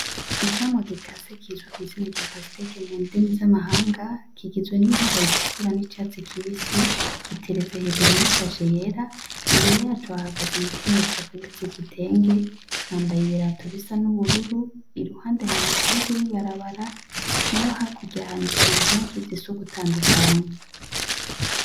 Icamwa gika se kizuka izina rya pasiteke mu ndimi z'amahanga kigizwe n'ibara ridukura n'icatsi kibisi gitereze hejuru yisashe yera imbere yacu ahagaze umu kenye zakwemezi gitenge yambaye ibirato bisa n'ubururu iruhande hari umufuregebewarabara na yo hakuryahanikiye impuzu zi sugutana kanya.